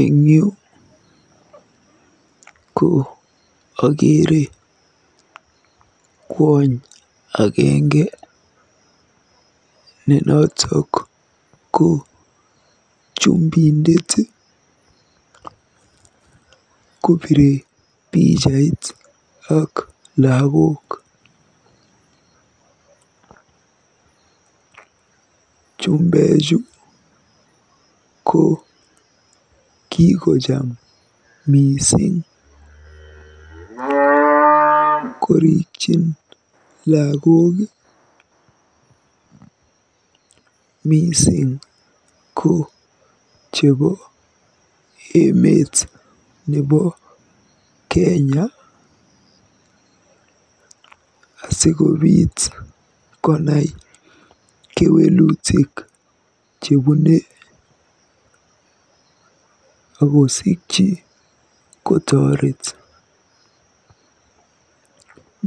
Eng yu ko akeere kwony agenge ne notok ko chumbindet kobiire pichait ak lagok. Chumbechu ko kikojam mising korikyin lagok mising ko chebo emet nebo Kenya asikonai kewelutik chebune akosikyi kotoret.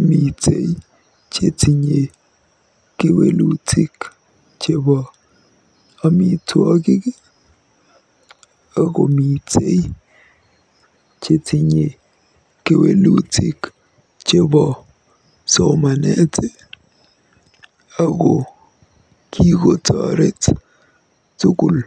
MItei chetinye kewelutik chebo amitwogik akomitei chetinye kewelutik chebo somanet ako kikotoreet tugul.